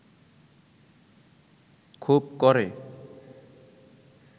খুব ক’রে